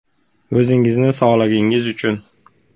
O‘zingizning sog‘lig‘ingiz uchun.